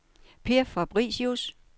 Per Fabricius